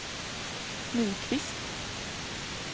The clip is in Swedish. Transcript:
Nyqvist